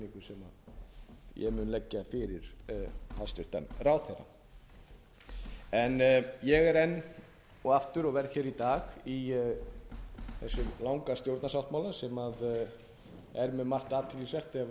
sem ég mun leggja fyrir hæstvirtan ráðherra ég er enn og aftur og verð hér í dag í þessum langa stjórnarsáttmála sem er með margt athyglisvert ef